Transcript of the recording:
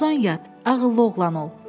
Uzan yat, ağıllı oğlan ol.